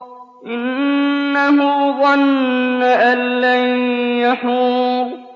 إِنَّهُ ظَنَّ أَن لَّن يَحُورَ